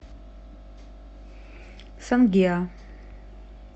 сонгеа